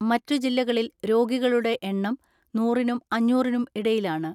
മറ്റു ജില്ലകളിൽ രോഗികളുടെ എണ്ണം നൂറിനും അഞ്ഞൂറിനും ഇടയിലാണ്.